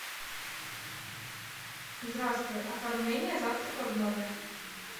здравствуй оформление завтрака в номер